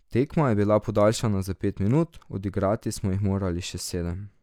Tekma je bila podaljšana za pet minut, odigrati smo jih morali še sedem.